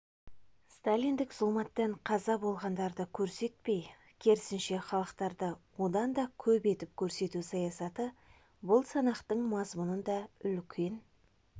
сталиндік зұлматтан қаза болғандарды көрсетпей керісінше халықтарды одан да көп етіп көрсету саясаты бұл санақтың да мазмұнына үлкен